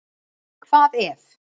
Hvað ef.